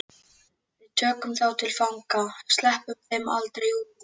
Við tökum þá til fanga. sleppum þeim aldrei út.